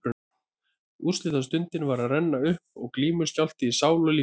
Úrslitastundin var að renna upp og glímuskjálfti í sál og líkama.